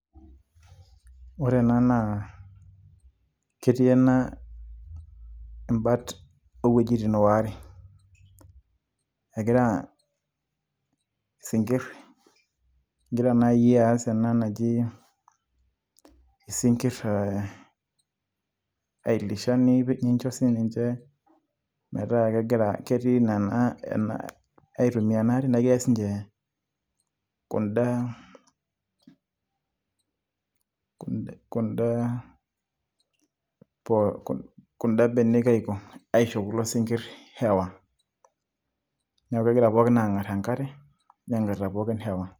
ore ena naa ketii ena ibat, oo wuejitin waare, egira isinkir, egira naai aas ena naji isinkir te ailisha nincho sii ninche, metaa ketii egira aitumia ena are. neeku kees ninche kuda, kuda benek aiko, aisho kuldo sinkir hewa. neeku kegira pookin aang'ar enkare negarita pokin hewa.